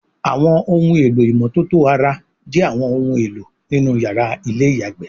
Àwọn ohun èlò ìmọ́tótó ara jé àwọn òun èló nínú yàrá Ilé-ìyàgbé